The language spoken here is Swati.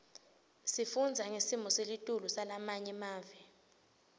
sifundza ngesimo selitulu salamanye emave